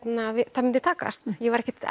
það myndi takast ég var ekkert